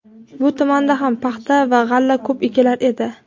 bu tumanda ham paxta va g‘alla ko‘p ekilar edi.